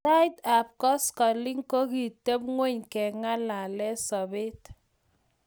Sait ap koskoling ko kogitepng'ony keng'alale sobet